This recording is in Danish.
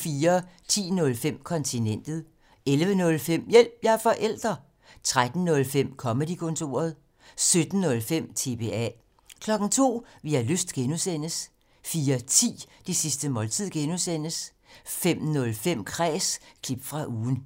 10:05: Kontinentet 11:05: Hjælp – jeg er forælder! 13:05: Comedy-kontoret 17:05: TBA 02:00: Vi har lyst (G) 04:10: Det sidste måltid (G) 05:05: Kræs – klip fra ugen